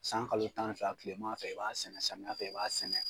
San kalo tan ni fila tilema fɛ e b'a sɛnɛ samiya fɛ e b'a sɛnɛ